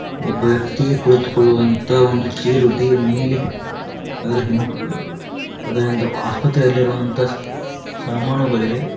ಒಬ್ಬ ವ್ಯಕ್ತಿ ಕುಳಿತುಕೊಳ್ಳುವಂತಹ ಒಂದು ಚೇರು ಟಿಯ ಮೇಲಿ ಅದರ ಹಿಮ್ ಅದರ ಆಸ್ಪತ್ರೆಯಲ್ಲಿರುವಂತಹ ಸಾಮಾನುಗಳಿವೆ.